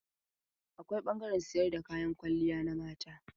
Akwai ɓangaren sayar da kayan kwalliya na mata.